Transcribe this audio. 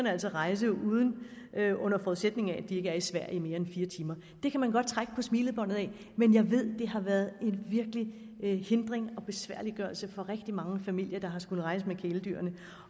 altså rejse under forudsætning af at de ikke er i sverige i mere end fire timer det kan man godt trække på smilebåndet af men jeg ved at det har været en virkelig hindring og besværliggørelse for rigtig mange familier der har skullet rejse med kæledyrene